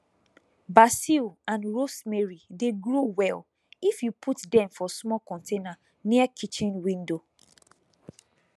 basil and rosemary dey grow well if you put dem for small container near kitchen window